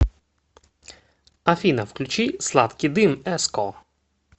афина включи сладкий дым эско